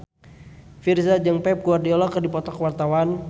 Virzha jeung Pep Guardiola keur dipoto ku wartawan